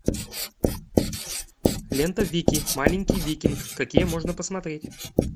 лента вики маленький викинг какие можно посмотреть